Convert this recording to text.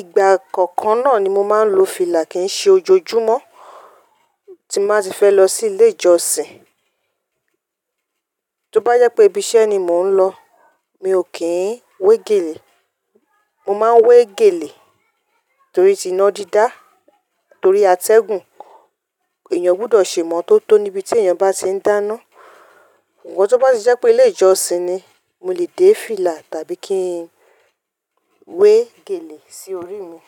ìgbà kọ̀ọ̀kan náà ni mo máa ń lo fìlà kìí ṣe ojoojúmọ́ tí máa ti fẹ́ lọ sí ilé ìjọsìn. Tóbá yẹ pé ibi iṣẹ́ ni mò ń lọ, mi ò kí ń wé gèlè. Mo máa wé gèlè torí ti iná dídá, torí atẹ́gùn. Ẹ̀yàn gbọdọ̀ ṣe mọ́ tó tó níbi tí èèyàn bá ti ń dáná. Ǹjẹ́ tó bá ti jẹ́ pé ilé ìjọsìn ni, mo lè dé fìlà tàbí kí n wé gèlè sí orí mi.